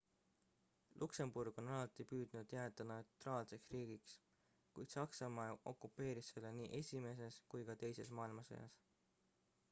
luksemburg on alati püüdnud jääda neutraalseks riigiks kuid saksamaa okupeeris selle nii esimeses kui ka teises maailmasõjas